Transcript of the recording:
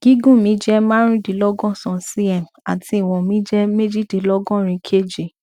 gígùn mi jẹ marundinlogosan cm àti ìwọn mi jẹ mejidinlogorin kg